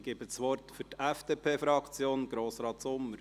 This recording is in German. Ich gebe das Wort für die FDP-Fraktion Grossrat Sommer.